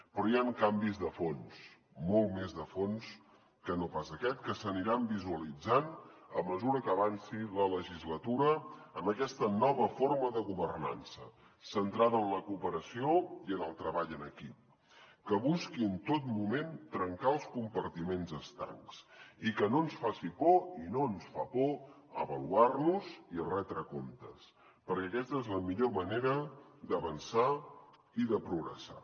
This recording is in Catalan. però hi ha canvis de fons molt més de fons que no pas aquest que s’aniran visualitzant a mesura que avanci la legislatura en aquesta nova forma de governança centrada en la cooperació i en el treball en equip que busqui en tot moment trencar els compartiments estancs i que no ens faci por i no ens fa por avaluar nos i retre comptes perquè aquesta és la millor manera d’avançar i de progressar